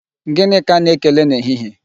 Gịnị ka a na-ekele na ehihie?